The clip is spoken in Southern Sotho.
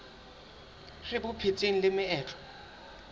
re bo phetseng le meetlo